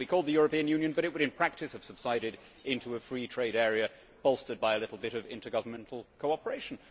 It would still be called the European Union, but it would in practice have subsided into a free trade area bolstered by a little bit of intergovernmental cooperation.